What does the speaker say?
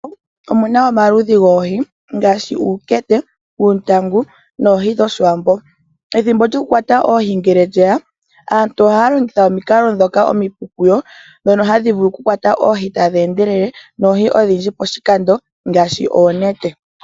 Omuna omaludhi goohi ngaashi Omankende, Uuntangu noohi dhoshiwambo, pethimbo lyokukwata oohi ngee lyeya aantu ohaa longitha omikalo dhokukwata oohi ndhi omipu kuyo ndhi tadhi vulu kukwata oohi odhindji poshikando ngaashi oonete.